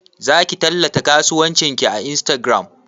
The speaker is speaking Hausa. Zaki tallata kasuwancin ki a Instagram?